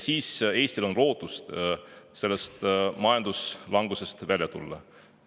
Siis on Eestil lootust sellest majanduslangusest välja tulla.